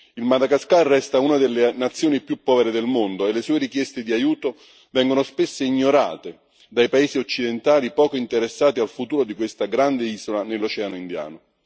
Il Madagascar resta una delle nazioni più povere del mondo e le sue richieste di aiuto vengono spesso ignorate dai paesi occidentali, poco interessati al futuro di questa grande isola nell'Oceano Indiano.